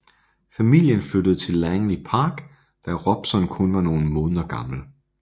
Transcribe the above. Familien flyttede til Langley Park da Robson kun var nogle måneder gammel